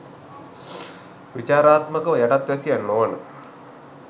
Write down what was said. විචාරාත්මකව යටත් වැසියන් නොවන